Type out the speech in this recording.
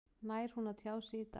Nær hún að tjá sig í dag?